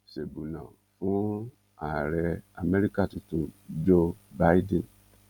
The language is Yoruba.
fún ààrẹ amẹ́ríkà tuntun joe bidden